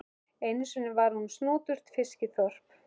Einu sinni var hún snoturt fiskiþorp.